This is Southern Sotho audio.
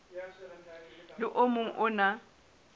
le o mong o na